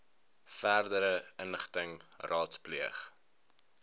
verdere inligting raadpleeg